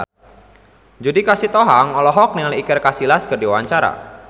Judika Sitohang olohok ningali Iker Casillas keur diwawancara